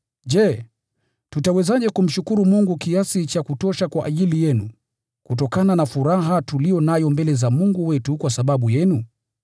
Je, tutawezaje kumshukuru Mungu kiasi cha kutosha kwa ajili yenu, kutokana na furaha tuliyo nayo mbele za Mungu wetu kwa sababu yenu?